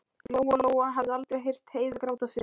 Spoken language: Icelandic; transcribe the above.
Lóa Lóa hafði aldrei heyrt Heiðu gráta fyrr.